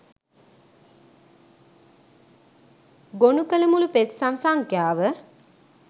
ගොනු කල මුළු පෙත්සම් සංඛ්‍යාව